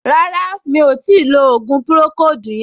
Rárá, mi ò tíì lo ògùn pùròkóòdù yẹn